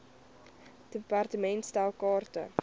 department stel kaarte